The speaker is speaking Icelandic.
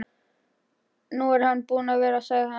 Nú er hann búinn að vera, sagði hann.